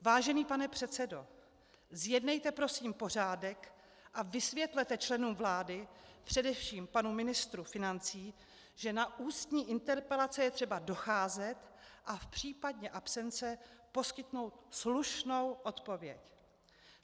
Vážený pane předsedo, zjednejte prosím pořádek a vysvětlete členům vlády, především panu ministru financí, že na ústní interpelace je třeba docházet a v případě absence poskytnout slušnou odpověď.